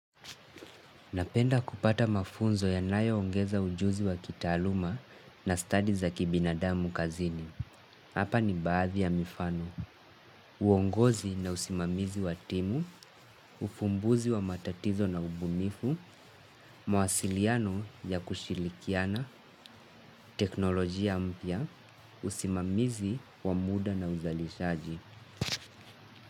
Napenda kupata mafunzo yanayoongeza ujuzi wa kitaaluma na study za kibinadamu kazini. Hapa ni baadhi ya mifano. Uongozi na usimamizi wa timu, ufumbuzi wa matatizo na ubunifu, mawasiliano ya kushirikiana, teknolojia mpya, usimamizi wa muda na uzalishaji.